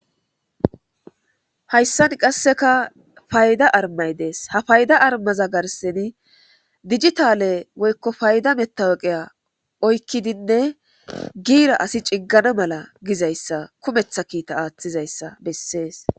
hayssan qasseka payda armay dees ha fayda armaza garseni dijitale woykko fayda metaweqeya oykkidinne giira asi ciggana mala gizayssa kumetha kiita aaththizayssa bessees.